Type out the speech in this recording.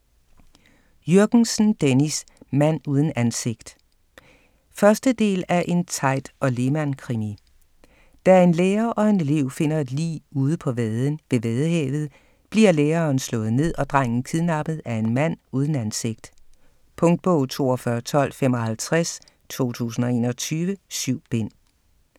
Jürgensen, Dennis: Mand uden ansigt 1. del af En Teit & Lehmann-krimi. Da en lærer og en elev finder et lig ude på vaden ved Vadehavet, bliver læreren slået ned og drengen kidnappet af en mand uden ansigt. Punktbog 421255 2021. 7 bind.